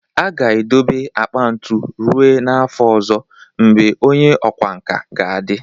A ga-edobe akpa ntu ruo n'afọ ọzọ, mgbe onye ọkwá nkà ga-adị